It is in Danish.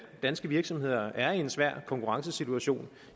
danske virksomheder er i en svær konkurrencesituation